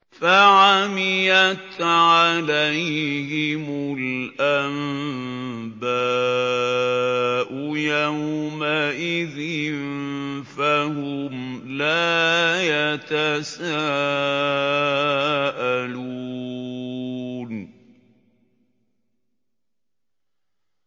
فَعَمِيَتْ عَلَيْهِمُ الْأَنبَاءُ يَوْمَئِذٍ فَهُمْ لَا يَتَسَاءَلُونَ